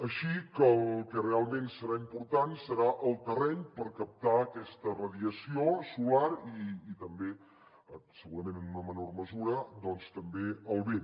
així que el que realment serà important serà el terreny per captar aquesta radiació solar i també segurament en una menor mesura doncs també el vent